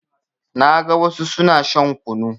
Na ga wassu suna shan kunu